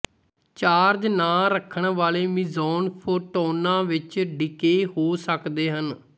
charge ਨਾ ਰੱਖਣ ਵਾਲੇ ਮੀਜ਼ੌਨ ਫੋਟੌਨਾਂ ਵਿੱਚ ਡਿਕੇਅ ਹੋ ਸਕਦੇ ਹਨ